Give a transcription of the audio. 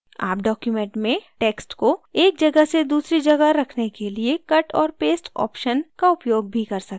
आप document में text को एक जगह से दूसरी जगह रखने के लिए cut और paste ऑप्शन का उपयोग भी कर सकते हैं